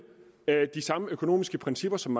de samme økonomiske principper som